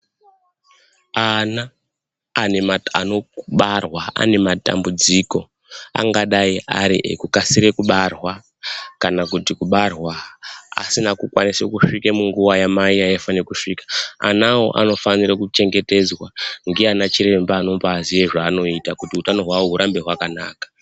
Ana anobarwara anematambudziko angadai ari ekukasire kubarwa kana kuti kubarwa asina kukwanise kusvika munguwa yamai yaaifane kusvika, anawo anofanire kuchengetedzwa ndiana chiremba anombaziye zvaanoita kuti utano hwawo hurambe hwakanaka.